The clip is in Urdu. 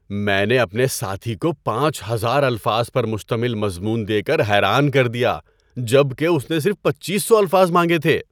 میں نے اپنی ساتھی کو پانچ ہزار الفاظ پر مشتمل مضمون دے کر حیران کر دیا جب کہ اس نے صرف پچیس سو الفاظ مانگے تھے۔